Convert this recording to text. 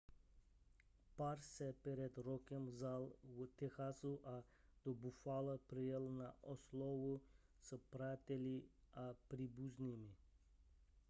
pár se před rokem vzal v texasu a do buffala přijel na oslavu s přáteli a příbuznými